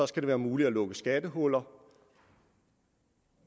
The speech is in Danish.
skal være muligt at lukke skattehuller